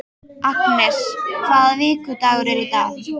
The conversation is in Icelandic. Agnes, hvaða vikudagur er í dag?